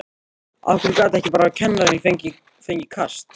Af hverju gat ekki bara kennarinn fengið kast?